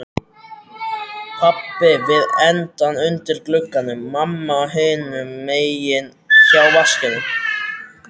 Pabbi við endann undir glugganum, mamma hinum megin hjá vaskinum.